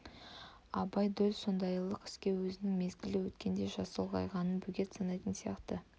абай дөл сондайлық іске өзінің мезгілі өткендей жасы ұлғайғанын бөгет санайтын сияқты